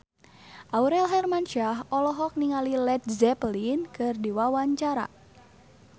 Aurel Hermansyah olohok ningali Led Zeppelin keur diwawancara